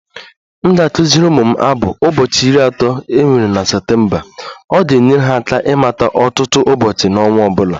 M ga-akụziri ụmụ m abụ "ụbọchị iri atọ nwere Septemba ..." Ọ ga-enyere ha aka ịmata ọtụtụ ụbọchị n'ọnwa ọ bụla.